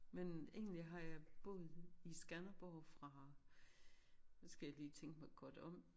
Men egentlig har jeg boet i Skanderborg fra nu skal jeg lige tænke mig godt om